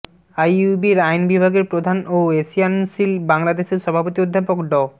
আইইউবির আইন বিভাগের প্রধান ও এশিয়ানসিল বাংলাদেশের সভাপতি অধ্যাপক ড